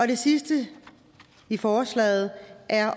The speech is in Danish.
det sidste i forslaget er